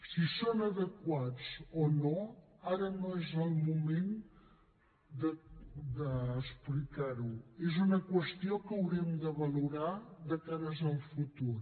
si són adequats o no ara no és el moment d’explicar ho és una qüestió que haurem de valorar de cara al futur